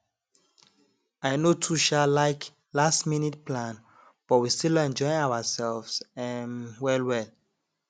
i no too um like lastminute plan but we still enjoy ourselves um well well